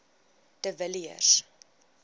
de villiers